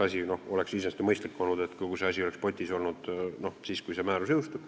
Iseenesest oleks mõistlik olnud, kui kogu see asi oleks potis olnud siis, kui see määrus jõustus.